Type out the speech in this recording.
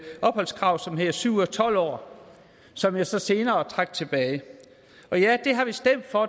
opholdskrav som hedder syv ud af tolv år som jeg så senere trak tilbage og ja det har vi stemt for